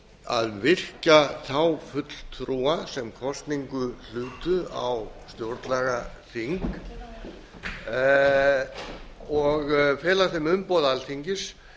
að virkja þá fulltrúa sem kosningu hlutu á stjórnlagaþing og fela þeim umboð alþingis